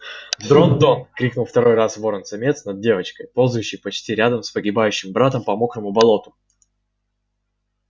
дрон-тон крикнул второй раз ворон-самец над девочкой ползающей почти рядом с погибающим братом по мокрому болоту